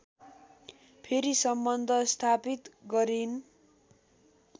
फेरि सम्बन्ध स्थापित गरिन्